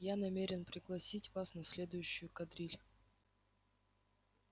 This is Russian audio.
я намерен пригласить вас на следующую кадриль